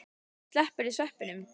Slepptirðu sveppunum?